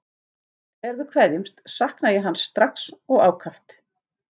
Þegar við kveðjumst sakna ég hans strax og ákaft.